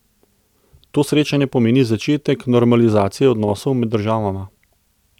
To srečanje pomeni začetek normalizacije odnosov med državama.